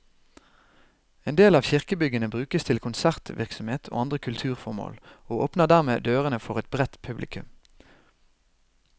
En del av kirkebyggene brukes til konsertvirksomhet og andre kulturformål, og åpner dermed dørene for et bredt publikum.